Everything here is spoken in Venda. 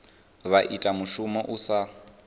vha ita mushumo u sa